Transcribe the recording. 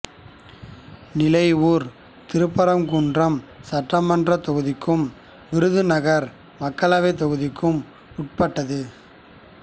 நிலையூர் திருப்பரங்குன்றம் சட்டமன்றத் தொகுதிக்கும் விருதுநகர் மக்களவைத் தொகுதிக்கும் உட்பட்டது